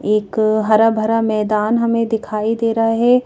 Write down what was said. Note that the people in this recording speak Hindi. एक हरा भरा मैदान हमें दिखाई दे रहा है।